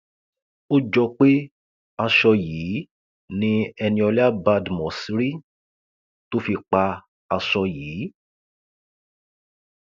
ó jọ pé aṣọ yìí ni eniola badmus rí tó fi pa aṣọ yìí